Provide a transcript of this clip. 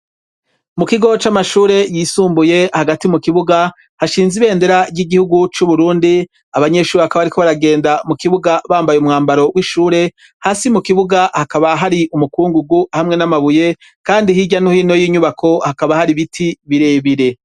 Mu kigo c'amashure yisumbuye hagati mu kibuga hashinze ibendera ry'igihugu c'uburundi abanyeshuri hakaba bariko baragenda mu kibuga bambaye umwambaro w'ishure hasi mu kibuga hakaba hari umukungugu hamwe n'amabuye kandi hirya no hino y'inyubako hakaba hari biti bire bire.